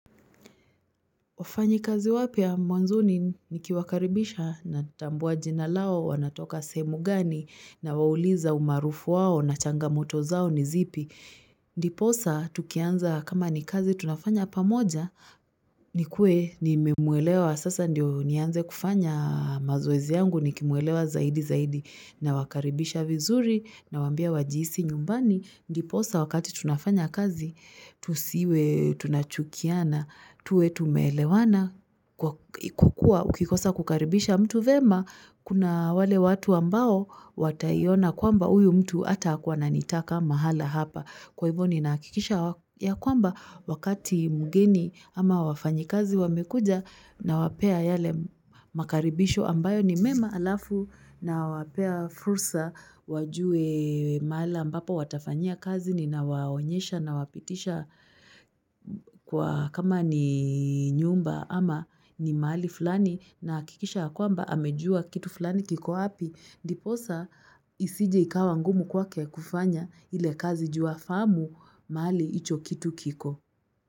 Wafanyikazi wapya mwanzoni nikiwakaribisha natambua jina lao, wanatoka sehemu gani, nawauliza umaarufu wao na changamoto zao ni zipi. Ndiposa tukianza kama ni kazi tunafanya pamoja nikuwe nimemuelewa sasa ndio nianze kufanya mazoezi yangu nikimuelewa zaidi zaidi. Nawakaribisha vizuri nawaambia wajihisi nyumbani, ndiposa wakati tunafanya kazi, tusiwe tunachukiana tuwe tumeelewana, kwa kuwa ukikosa kukaribisha mtu vyema, kuna wale watu ambao wataiona kwamba uyu mtu hata hakuwa ananitaka mahala hapa. Kwa hivyo ninahakikisha ya kwamba wakati mgeni ama wafanyikazi wamekuja nawapea yale makaribisho ambayo ni mema halafu nawapea fursa wajue mahala ambapo watafanyia kazi ninawaonyesha nawapitisha kwa kama ni nyumba ama ni mahali fulani. Nahakikisha ya kwamba amejua kitu fulani kiko wapi. Ndiposa isije ikawa ngumu kwake kufanya ile kazi juu hafahamu mahali icho kitu kiko.